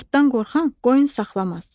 Qurtdan qorxan qoyun saxlamaz.